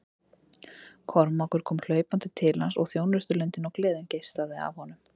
Kormákur kom hlaupandi til hans og þjónustulundin og gleðin geislaði af honum.